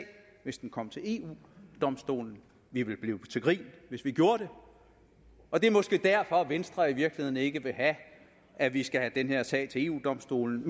hvis den kom til eu domstolen vi ville blive til grin hvis vi gjorde det det er måske derfor venstre i virkeligheden ikke vil have at vi skal have den her sag til eu domstolen